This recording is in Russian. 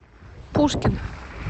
пушкин